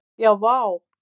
Já vá!